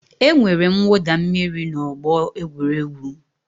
E nwere mwụda mmiri n'ọgbọ egwuregwu.